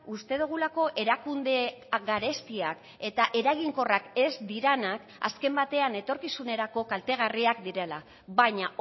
uste dugulako erakunde garestiak eta eraginkorrak ez direnak azken batean etorkizunerako kaltegarriak direla baina